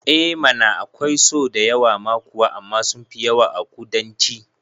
Eh mana akwai so da yawa ma kuwa amma sunfi yawa a ƙudanci